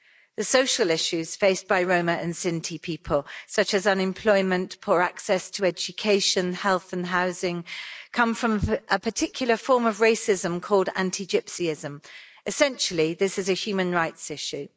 The social issues faced by Roma and Sinti people, such as unemployment, poor access to education, health and housing, come from a particular form of racism called anti Gypsyism essentially this is a human rights issue.